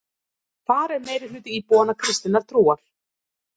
Þar er meirihluti íbúanna kristinnar trúar